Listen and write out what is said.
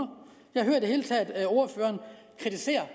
jeg hører i det hele taget ordføreren kritisere